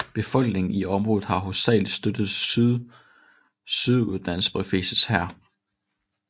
Befolkningen i området har hovedsagelig støttet Sydsudans befrielseshær